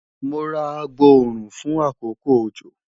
Mo ra agboorun fun akoko ojo